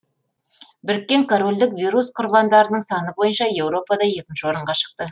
біріккен корольдік вирус құрбандарының саны бойынша еуропада екінші орынға шықты